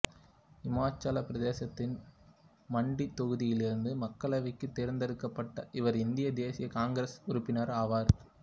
இமாச்சல பிரதேசத்தின் மண்டி தொகுதியிலிருந்து மக்களவைக்குத் தேர்ந்தெடுக்கப்பட்ட இவர் இந்திய தேசிய காங்கிரசில் உறுப்பினர் ஆவார்